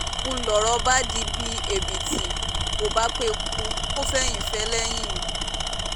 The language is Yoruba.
ń lọ̀rọ̀ bá dí bí èbìtì kò bá pẹ́kú kò fẹ̀yìn fẹ́lẹ́yìn ni